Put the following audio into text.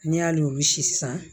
N'i y'ale olu si san